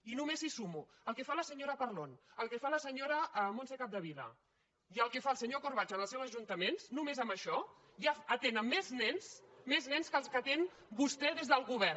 i només si sumo el que fa la senyora parlon el que fa la senyora montse capdevila i el que fa el senyor corbacho en els seus ajuntaments només amb això ja atenen més nens més nens que els que atenen vostès des del go·vern